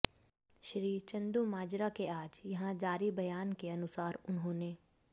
श्री चंदूमाजरा के आज यहां जारी बयान के अनुसार उन्होंने